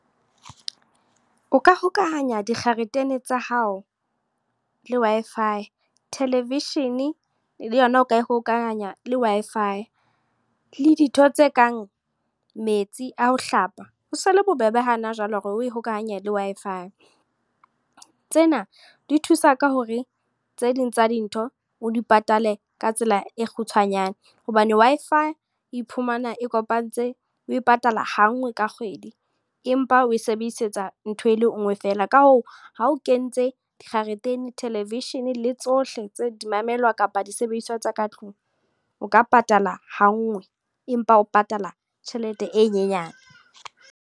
O ka hokahanya dikgaretene tsa hao, le Wi-Fi. Television, le yona o ka e ho hokahanya le Wi-Fi. Le ditho tse kang metsi a ho hlapa, ho so le bobebe hana jwale hore o e hokahanye le Wi-Fi. Tsena di thusa ka hore, tse ding tsa dintho o di patale ka tsela e kgutshwanyane. Hobane Wi-Fi e iphumana e kopantse o e patala ha nngwe ka kgwedi. Empa o e sebedisetsa ntho e le nngwe fela. Ka hoo, ha o kentse dikgaretene, television le tsohle tse di mamelwa kapa disebediswa tsa ka tlung. O ka patala ha nngwe, empa o patala tjhelete e nyenyane.